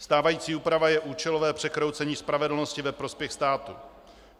Stávající úprava je účelové překroucení spravedlnosti ve prospěch státu.